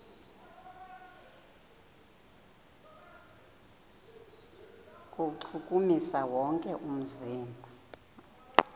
kuwuchukumisa wonke umzimba